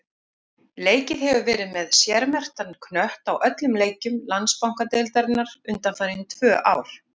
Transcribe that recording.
Leikið hefur verið með sérmerktan knött á öllum leikjum Landsbankadeildarinnar undanfarin tvö ár.